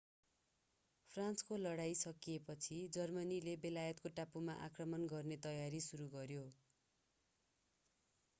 फ्रान्सको लडाईं सकिएपछि जर्मनीले बेलायतको टापुमा आक्रमण गर्ने तयारी सुरु गर्यो